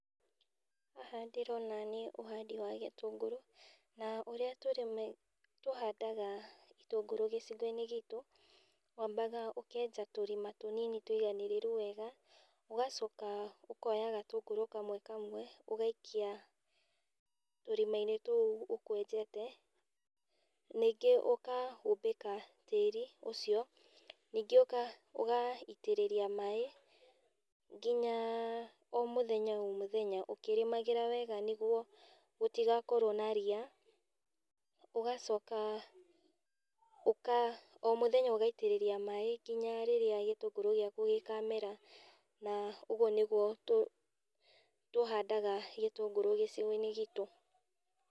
Haha ndĩrona nĩ ũhandi wa gĩtũngũru, na ũrĩa tũhandaga gĩtũngũrũ gĩcigoinĩ gitu, wambaga ũkenja tũrima tũnini tũiganĩrĩru wega, ũgacoka ũkoya gatũngũrũ kamwe kamwe ũgaikia tũrimainĩ tuũ ũkwenjete, ningĩ ũkahumbika tĩri ũcio, ningĩ ũka ũgaitĩrĩria maĩ nginya o mũthenya o mũthenya ũkĩrĩmagĩra wega nĩguo gũtigakorwo na ria, ũgacoka ũka o mũthenya ũgaitĩrĩria maĩ nginya rĩrĩa gĩtũngũrũ gĩaku gĩkamera, na ũguo nĩguo tũ tũhandaga gĩtũngũrũ gicigoinĩ gitũ.